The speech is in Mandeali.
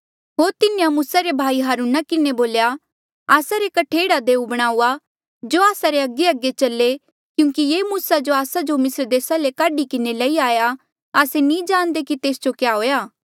होर तिन्हें मूसा रे भाई हारूना बोल्या आस्सा रे कठे एह्ड़ा देऊ बणाऊआ जो आस्सा रे अगेअगे चले क्यूंकि ये मूसा जो आस्सा जो मिस्र देसा ले काढी किन्हें लई आया आस्से नी जाणदे कि तेस जो क्या हुएया